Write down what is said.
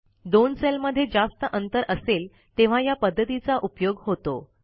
दोन सेलमध्ये जास्त अंतर असेल तेव्हा या पध्दतीचा उपयोग होतो